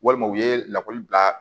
Walima u ye lakɔli bila